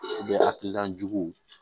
hakilina juguw